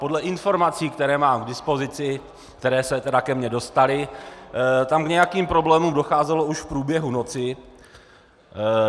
Podle informací, které mám k dispozici, které se tedy ke mně dostaly, tam k nějakým problémům docházelo už v průběhu noci.